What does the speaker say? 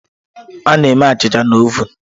A na-eme achịcha na ovun.